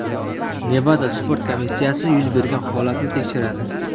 Nevada sport komissiyasi yuz bergan holatni tekshiradi.